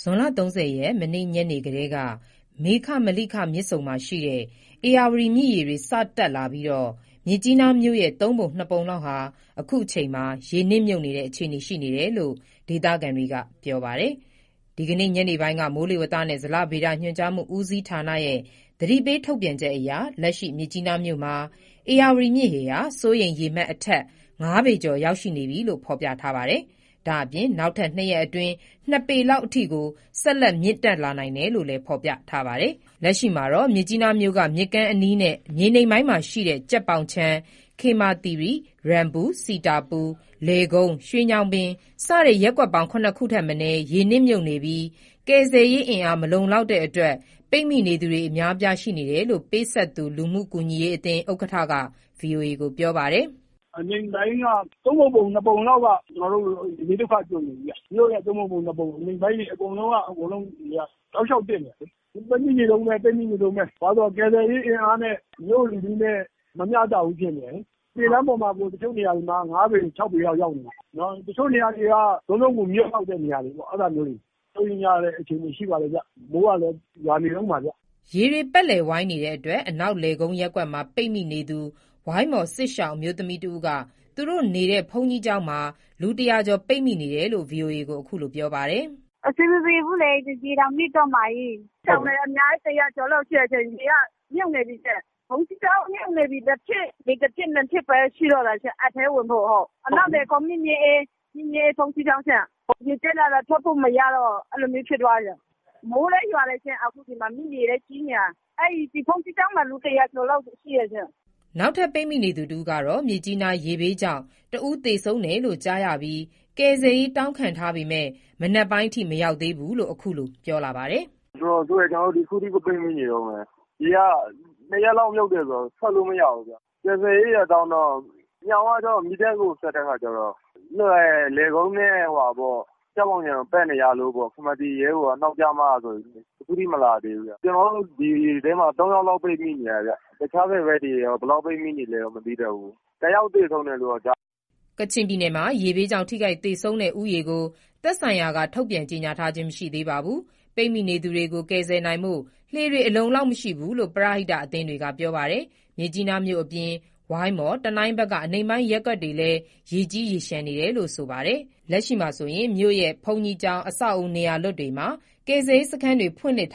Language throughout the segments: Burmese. ဇွန်လ ၃၀ ရက် မနေ့ညနေကတည်းက မေခ-မေလိခ မြစ်ဆုံနဲ့ ဧရာဝတီ မြစ်ရေတွေ စတက်လာပြီး မြစ်ကြီးနား မြို့ရဲ့ သုံးပုံ နှစ်ပုံလောက်ဟာ အခုချိန်မှာ ရေနစ်မြုပ်နေတဲ့ အခြေအနေရှိနေတယ်လို့ ဒေသခံတွေက ပြောပါတယ်။ ဒီကနေ့ ညနေပိုင်းက မိုးလေဝသနှင့်ဇလဗေဒညွှန်ကြားမှုဦးစီးဌာနရဲ့ သတိပေးထုတ်ပြန်ချက်အရ လက်ရှိ မြစ်ကြီးနားမြို့မှာ ဧရာ၀တီမြစ်ရေဟာ စိုးရိမ်ရေအမှတ်ထက် ၅ ပေကျော်ရောက်ရှိနေပြီလို့ ဖေါ်ပြထားပါတယ်။ ဒါအပြင် နောက်ထက် ၂ ရက်အတွင်း ၂ ပေလောက်အထိကို ဆက်လက်မြင့်တက်လာနိုင်တယ်လို့ ဖေါ်ပြထားပါတယ်။ လက်ရှိမှာတော့ မြစ်ကြီးနားမြို့က မြစ်ကမ်းအနီးနဲ့ မြေနိမ့်ပိုင်းမှာရှိတဲ့ ကြက်ပေါင်ခြံ၊ ခေမာသိရီ၊ ရမ်ပူ၊ စီတာပူ၊ လယ်ကုန်း၊ ရွှေညောင်ပင် စတဲ့ ရပ်ကွက်ပေါင်း ၇ ခုထက်မနည်း ရေနစ်မြုပ်နေပြီး ကယ်ဆယ်ရေးအင်အားမလုံလောက်တဲ့အတွက် ပိတ်မိနေသူတွေ အများအပြားရှိနေတယ်လို့ ပေးဆပ်သူ လူမှုကူညီရေးအသင်း ဥက္ကဋ္ဌက ဗွီအိုအေကို ပြောပါတယ်။ “အနိမ့်ပိုင်းက ၃ပုံ ပုံ၊ ၂ပုံလောက်က ကျနော်တို့ ရေဘေးဒုက္ခကြုံနေပြီးဗျ။ မြို့ရဲ့ ၃ပုံ ပုံ၊ ၂ပုံ အနိမ့်ပိုင်းတွေ အကုန်လုံးက ရေက တောက်လျှောက်တက်နေတာလေ။ လူတွေ ပိတ်မိနေတုန်းပဲ ပိတ်မိနေတုန်းပဲ ဘာလို့ဆို ကယ်ဆယ်ရေးအင်အားနဲ့ မြို့လူထုနဲ့ မမျှတဘူး ဖြစ်နေတယ်လေ။ လမ်းပေါ်မှာ တချို့နေရာမှာ ရေ ၅ပေ၊ ၆ပေ ရောက်နေပြီးနော်၊ တချို့နေရာက လုံလုံကိုမြုပ်လောက်တဲ့နေရာတွေ အဲ့ဒါမျိုးတွေပေါ့။ စိုးရိမ်ရတဲ့ အခြေအနေတွေ ရှိပါတယ်ဗျ၊ မိုးကလည်း ရွာနေတုန်းပါဗျ။” ရေတွေပတ်လည်ဝိုင်းနေတဲ့ အနောက်လယ်ကုန်းရပ်ကွက်မှာ ပိတ်မိနေသူ ဝိုင်းမော်စစ်ရှောင်အမျိုးသမီးတဦးက သူတို့နေတဲ့ ဘုန်းကြီးကျောင်းမှာ လူ ၁၀၀ ကျော် ပိတ်မိနေတယ်လို့ ဗွီအိုအေကို အခုလို ပြောပါတယ်။ “အဆင်မပြေဘူးလေ ရေတောင်နစ်တော့မှာကြီး၊ စစ်ရှောင်ခဲ့တာ အများကြီး ၁၀၀ ကျော်လောက်ရှိတယ်ရှင်၊ ရေကမြုပ်နေပြီးရှင်။ ဘုန်းကြီးကျောင်းမြုပ်နေပြီး တစ်ထစ် နှစ်ထစ်ပဲ ရှိတော့တာရှင် ရေအထဲဝင်ဖို့ဟုတ်၊ အနောက်လယ်ကုန်း မြင့်မြတ်အေးဘုန်းကြီးကျောင်းမှာ ရေတက်တာလာ ထွက်ဖို့ မရတော့ အဲ့လိုမျိုးဖြစ်သွားတယ်ရှင်။ မိုးလည်းရွာတယ်ရှင် အခုဒီမှာ မြစ်ရေလည်း ကြီးနေတာ ဒီဘုန်းကြီးကျောင်းမှာ လူ ၁၀၀ ကျော်လောက်ရှိတယ်ရှင်။” နောက်ထပ် ပိတ်မိနေသူတဦးကတော့ မြစ်ကြီးနား ရေဘေးကြောင့် တဦးသေဆုံးတယ်လို့ ကြားရပြီး ကယ်ဆယ်ရေး တောင်းခံထားပေမယ့် မနက်ပိုင်းအထိ မရောက်သေးဘူးလို့ အခုလို ပြောပါတယ်။ “တော်တော်ဆိုးတယ်။ ကျနော်တို့ အခုထိကို ပိတ်မိနေတုန်းပဲ။ ရေက တရပ်လောက် မြုပ်တယ်ဆိုတော့ ထွက်လို့မရဘူးဗျ။ ကယ်ဆယ်ကိုတောင်းတော့ မီးတပ်ကိုဆက်တဲ့အခါကျတော့ လယ်ကုန်းနဲ့ ကြက်ပေါင်ခြံကို ပတ်နေရလို့ပေါ့ ခေမာသီရိရဲ့တို့က နေက်ကျမှဆိုပြီး အခုထိ မလာသေးဘူးဗျ။ ကျနော်တို့ ဒီအိမ်ထဲမှာ ၃ယောက်လောက် ပိတ်မိနေတာဗျ တခြားဘယ်ဘက်တွေ ဘယ်လောက်ပိတ်မိနေလဲတော့ ပြောတတ်ဘူး၊ တစ်ယောက်သေဆုံးတယ်လို့တော့ ကြားတယ်။” ကချင်ပြည်နယ်မှာရေဘေးကြောင့် ထိခိုက်သေဆုံးတဲ့ ဦးရေကို သက်ဆိုင်ရာက ထုတ်ပြန်ကြေညာခြင်းမရှိသေးပါဘူး။ ပိတ်မိနေသူတွေကို ကယ်ဆယ်နိုင်ဖို့ လှေတွေ အလုံအလောက်မရှိဘူးလို့ ပရဟိတအသင်းတွေက ပြောပါတယ်။ မြစ်ကြီးနားမြို့အပြင် ဝိုင်းမော်၊ တနိုင်း ဘက်က အနိမ့်ပိုင်းရပ်ကွက်တွေလည်း ရေကြီးရေလျှံနေတယ်လို့ ဆိုပါတယ်။ လက်ရှိ မြို့ရဲ့ ဘုန်းကြီးကျောင်း၊ အဆောက်အဦး၊ နေရာလွတ်တွေမှာ ကယ်ဆယ်ရေးစခန်းတွေ ဖွင့်လှစ်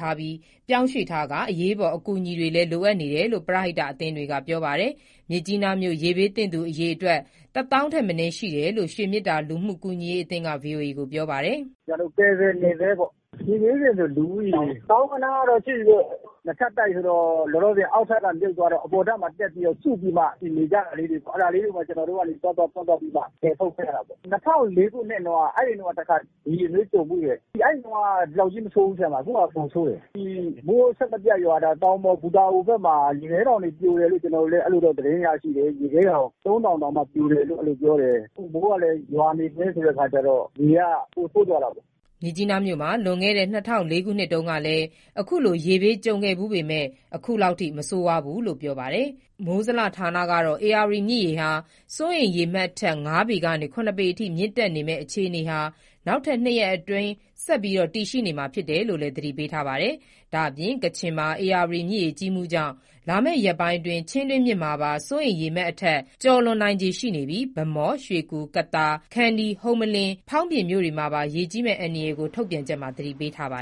ပြောင်းရွှေ့နေထားပြီး အရေးပေါ် အကူအညီတွေလည်းတယ်လို့ လိုအပ်နေတယ် ပရဟိအသင်းတွေက ပြောပါတယ်။ မြစ်ကြီးနားမြို့ ရေဘေးသင့်သူ အရေအတွက် တသောင်းထက်မနည်း ရှိတယ်လို့ ရွှေမေတ္တာလူမှုကူညီရေးအသင်းက ဗွီအိုအေကို ပြောပါတယ်။ “ကျနော်တို့ ကယ်ဆယ်နေဆဲပေါ့။ ရေဘေးသင့်တာ လူဦးရေ သောင်းဂဏန်းလောက်တော့ ရှိပြီးပေါ့။ နှစ်ထပ်တိုက်ဆိုတော့ လောလောဆယ် အပေါ်ထပ်ကို တက်ပြီးတော့ စုပြီးမှ နေကြတာလေတွေ အဲ့ဒါလေကို ကျနော်တို့က သွားသွားပြီးမှ ကယ်ထုတ်ခဲ့တာပေါ့။ ၂၀၀၄ ခုနှစ်ုတုန်းက တခါ ရေဘေးကြုံဖူးတယ်။ အဲ့ဒါတုန်းက ဒီလောက်ကြီးမဆိုးဘူး၊ အခုဟာက ပိုဆိုးတယ်။ ဒီမိုးအဆက်မပြတ်ရွာတာ တောင်မှာ ပူတာအိုဘက်မှာ ရေခဲတောင်တွေပြိုတယ်လို့ ကျနော်တို့လည်း အဲ့လိုတော့ သတင်းရရှိတယ်၊ ရေခဲတောင် ၃တောင် တောင်မှ ပြိုတယ်လု့ိ အဲ့လိုပြောတယ်။ အခု မိုးကလည်း ရွာနေဆဲဆိုတော့ ရေက ပိုဆိုးသွားတာပေါ့။” မြစ်ကြီးနားမြို့မှာ လွန်ခဲ့တဲ့ ၂၀၀၄ ခုနှစ်တုန်းက အခုလို ရေဘေးကြုံခဲ့ဖူးပေမယ့် အခုလောက်ထိ မဆိုးဝါးဘူးလို့ ပြောပါတယ်။ မိုးဇလဌာနကတော့ ဧရာ၀တီမြစ် ရေဟာ စိုးရိမ်ရေမှတ်ထက် ၅ပေ ကနေ ၇ ပေ ထိမြင့်တက်မည့်အခြေအနေဟာ နောက်ထပ် ၂ ရက်အတွင်း ဆက်ပြီးတည်ရှိနေမှာဖြစ်တယ်လို့ သတိပေးထားပါတယ်။ ဒါ့အပြင် ကချင်မှာ ဧရာ၀တီမြစ်ရေကြီးမှုကြောင့် လာမည့် ရက်ပိုင်းအတွင်း ချင်းတွင်းမြစ်မှာပါ စိုးရိမ်ရေအမှတ်ထက် ကျော်လွန်နိုင်ခြေရှိနေပြီး ဗန်းမော်၊ ရွှေကူ၊ ကသာ၊ ခန္တီး၊ ဟုမ္မလင်း၊ ဖောင်းပြင်မြို့နယ်တွေမှာ ရေကြီးမယ့်အန္တရာယ်ကို ထုတ်ပြန်ချက်မှာ သတိပေးထားပါ